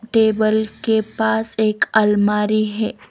Table के पास एक अलमारी है.